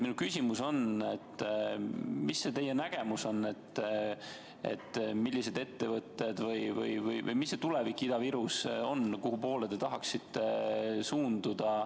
Minu küsimus ongi, mis see teie nägemus on, millised ettevõtted peaksid teil olema või milline on Ida-Viru tulevik, kuhupoole te tahaksite suunduda.